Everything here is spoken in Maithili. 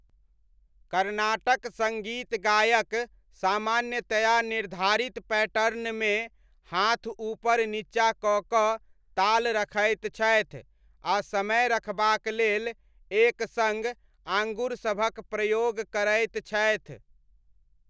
कर्नाटक सङ्गीत गायक सामान्यतया निर्धारित पैटर्नमे हाथ ऊपर नीचा कऽ कऽ ताल रखैत छथि आ समय रखबाक लेल एक सङ्ग आँगुरसभक प्रयोग करैत छथि।